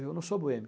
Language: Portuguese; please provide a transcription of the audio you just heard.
Eu não sou boêmio.